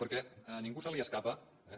perquè a ningú se li escapa eh